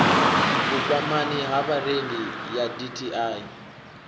vhukwamani ha vharengi ya dti